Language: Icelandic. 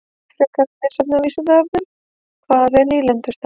Frekara lesefni á Vísindavefnum: Hvað er nýlendustefna?